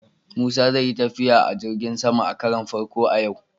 Musa zai yi tafiya ta jirgin sama a karon farko a yau.